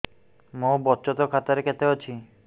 ମୋ ବଚତ ଖାତା ରେ କେତେ ଅଛି